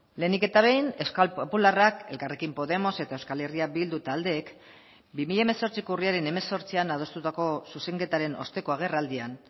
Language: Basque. lehenik eta behin euskal popularrak elkarrekin podemos eta euskal herria bildu taldeek bi mila hemezortziko urriaren hemezortzian adostutako zuzenketaren osteko agerraldian